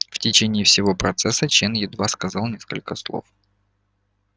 в течение всего процесса чен едва сказал несколько слов